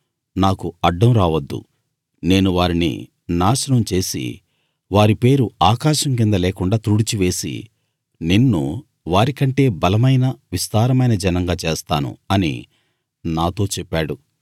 నాకు అడ్డం రావద్దు నేను వారిని నాశనం చేసి వారి పేరు ఆకాశం కింద లేకుండా తుడిచివేసి నిన్ను వారికంటే బలమైన విస్తారమైన జనంగా చేస్తాను అని నాతో చెప్పాడు